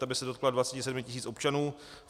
Ta by se dotkla 27 tisíc občanů.